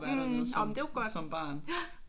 Jamen det er jo godt